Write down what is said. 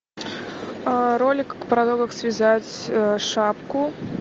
ролик про то как связать шапку